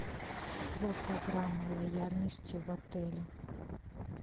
про программы лояльности в отеле